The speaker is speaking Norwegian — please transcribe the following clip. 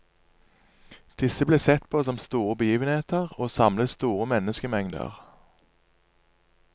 Disse ble sett på som store begivenheter, og samlet store menneskemengder.